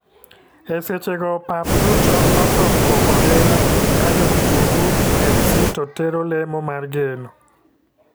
E seche go pap duto otho koko lilo ka jo kitungu fc to tero lemo mar geno.